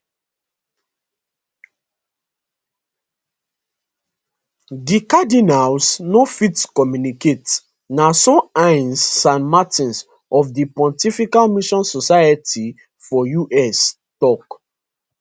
di cardinals no fit communicate na so ines san martin of di pontifical mission societies for us tok